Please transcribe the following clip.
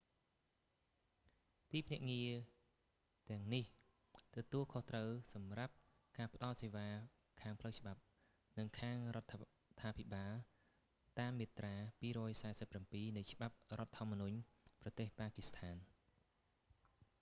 ទីភ្នាក់ងារទាំងនេះទទួលខុសត្រូវសម្រាប់ការផ្តល់សេវាខាងផ្លូវច្បាប់ និងខាងរដ្ឋាភិបាលតាមមាត្រា 247 នៃច្បាប់រដ្ឋធម្មនុញ្ញប្រទេស ប៉ាគីស្ថាន